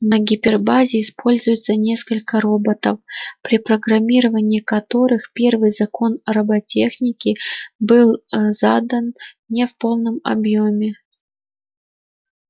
на гипербазе используется несколько роботов при программировании которых первый закон роботехники был ээ задан не в полном объёме